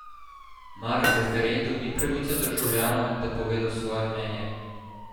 Mar referendum ni pravica državljanov, da povedo svoje mnenje?